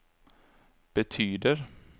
betyder